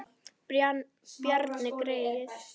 Bjarni greyið!